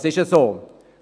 Dies ist so.